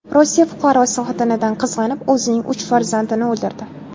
Rossiya fuqarosi xotinidan qizg‘anib, o‘zining uch farzandini o‘ldirdi.